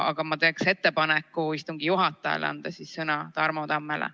Aga ma teen ettepaneku istungi juhatajale anda sõna Tarmo Tammele.